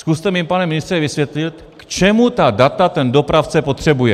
Zkuste mi, pane ministře, vysvětlit, k čemu ta data ten dopravce potřebuje.